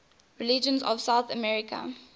regions of south america